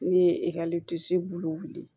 Ne ye ekɔli disi bolo